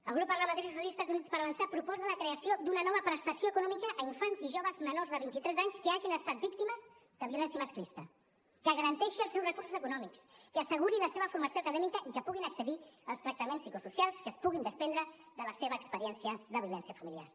el grup parlamentari socialistes i units per avançar proposa la creació d’una nova prestació econòmica a infants i joves menors de vint i tres anys que hagin estat víctimes de violència masclista que garanteixi els seus recursos econòmics que asseguri la seva formació acadèmica i que puguin accedir als tractaments psicosocials que es puguin desprendre de la seva experiència de violència familiar